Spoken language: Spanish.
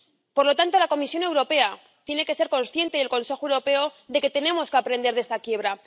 Por lo tanto, la Comisión Europea tiene que ser consciente —y el Consejo— de que tenemos que aprender de esta quiebra